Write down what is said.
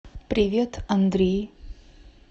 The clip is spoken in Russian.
привет андрей